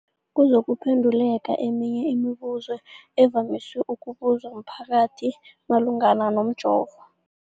kuzokuphe nduleka eminye yemibu zo evamise ukubuzwa mphakathi malungana nomjovo.